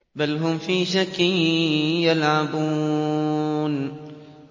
بَلْ هُمْ فِي شَكٍّ يَلْعَبُونَ